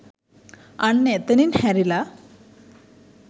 අන්න එතනින් හැරිලා